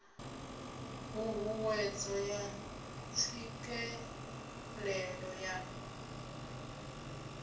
ṱhu ṱhuwedzo ya tswikelelo ya